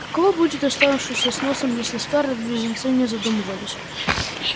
каково будет оставшемуся с носом если скарлетт близнецы не задумывались